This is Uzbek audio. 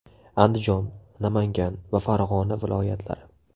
Andijon, Namangan va Farg‘ona viloyatlari .